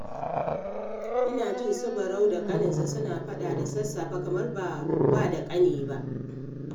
Ina jin su Barau da ƙaninsa suna faɗa da sasafe, kamar ba wa da ƙani ba